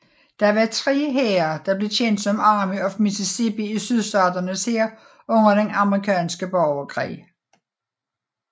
Der var tre hære der blev kendt som Army of Mississippi i Sydstaternes hær under den amerikanske borgerkrig